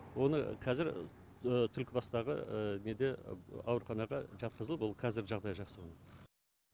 оны кәзір түлкібастағы неде ауруханаға жатқызылып ол кәзір жағдайы жақсы